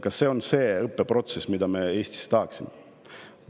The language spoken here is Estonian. Kas see on see õppeprotsess, mida me Eestis tahaksime?